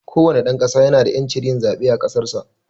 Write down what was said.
kowane dan ƙasa ya na da yancin yin zaɓe a ƙasarsa.